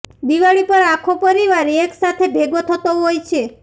દિવાળી પર આખો પરિવાર એક સાથે ભેગો થતો હોય છે